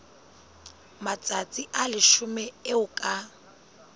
matsatsi a leshome eo ka